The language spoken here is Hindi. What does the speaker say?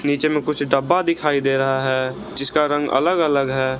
नीचे में कुछ डब्बा दिखाई दे रहा है जिसका रंग अलग अलग है।